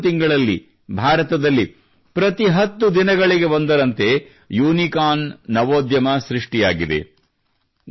ಕೇವಲ 10 ತಿಂಗಳಲ್ಲಿ ಭಾರತದಲ್ಲಿ ಪ್ರತಿ 10 ದಿನಗಳಿಗೆ ಒಂದರಂತೆ ಯೂನಿಕಾರ್ನ್ ನವೋದ್ಯಮ ಸೃಷ್ಟಿಯಾಗಿದೆ